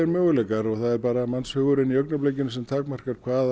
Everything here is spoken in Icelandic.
möguleikar það er bara mannshugurinn sem takmarkar hvað